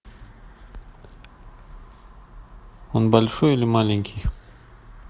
он большой или маленький